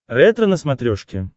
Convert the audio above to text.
ретро на смотрешке